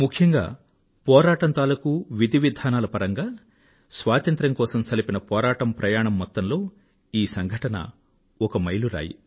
ముఖ్యంగా పోరాటం తాలూకూ విధి విధానాల పరంగా స్వాతంత్ర్యం కోసం సల్సిన పోరాటం ప్రయాణం మొత్తంలో ఈ సంఘటన ఒక మైలురాయి